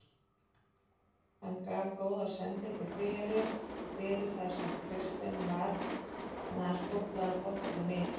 Hann gaf góða sendingu fyrir fyrir þar sem Kristinn var en hann skóflaði boltanum yfir.